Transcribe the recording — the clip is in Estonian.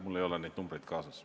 Mul ei ole neid numbreid kaasas.